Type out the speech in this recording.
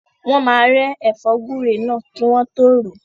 Wọ́n máa rẹ́ ẹ̀fọ́ gúre náà kí wọ́n tọ́ ròó.